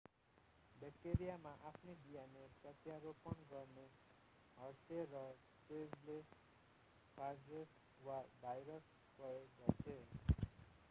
ब्याक्टेरियममा आफ्नै dna प्रत्यारोपण गर्न हर्से र चेजले फागेस वा भाइरस प्रयोग गर्थे